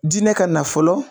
Dinɛ ka na fɔlɔ